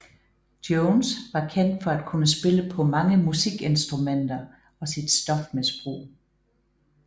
Jones var kendt for at kunne spille på mange musikinstrumenter og sit stofmisbrug